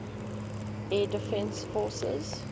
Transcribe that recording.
air defense forces